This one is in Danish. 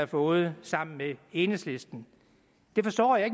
fået sammen med enhedslisten det forstår jeg